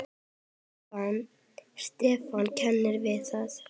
Stefán kannast við það.